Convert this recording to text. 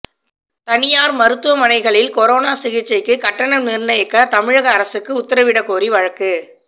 தனியார் மருத்துவமனைகளில் கொரோனா சிகிச்சைக்கு கட்டணம் நிர்ணயிக்க தமிழக அரசுக்கு உத்தரவிடக்கோரி வழக்கு